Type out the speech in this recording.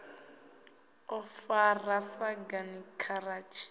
ḓo faho ḓi sagani giratshini